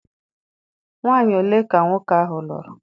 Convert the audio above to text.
Nwaanyi ole ka nwoke ahụ lụrụ?